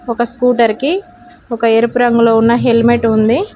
ఒక స్కూటర్ కి ఒక ఎరుపు రంగులో ఉన్న హెల్మెట్ ఉంది.